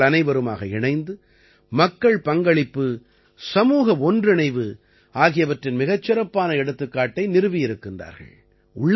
இவர்கள் அனைவருமாக இணைந்து மக்கள் பங்களிப்பு சமூக ஒன்றிணைவு ஆகியவற்றின் மிகச் சிறப்பான எடுத்துக்காட்டை நிறுவியிருக்கின்றார்கள்